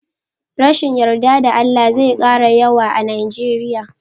Rashin yarda da Allah zai kara yawa a Nijeriya.